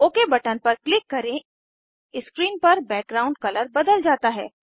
okay button पर click करेंस्क्रीन पर बैकग्राउंड कलर बदल जाता है